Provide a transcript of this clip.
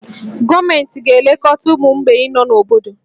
Gọọmenti ga-elekọta ụmụ mgbei nọ n'obodo